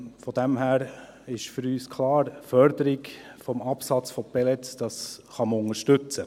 Von daher ist für uns klar: Die Förderung des Absatzes von Pellets kann man unterstützen.